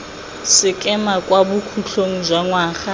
sekema kwa bokhutlhong jwa ngwaga